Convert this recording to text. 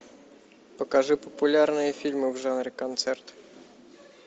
покажи популярные фильмы в жанре концерт